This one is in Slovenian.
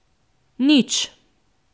Nič.